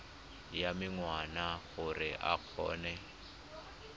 ya menwana gore o kgone